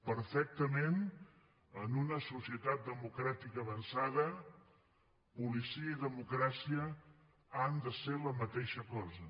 perfectament en una societat democràtica avançada policia i democràcia han de ser la mateixa cosa